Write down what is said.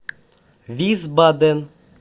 висбаден